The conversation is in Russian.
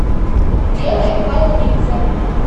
белой холунице